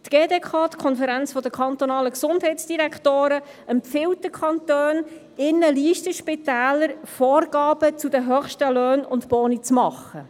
Die Schweizerische Konferenz der kantonalen Gesundheitsdirektorinnen und -direktoren (GDK) empfiehlt den Kantonen, den Listenspitälern Vorgaben zu den höchsten Löhnen und Boni zu machen.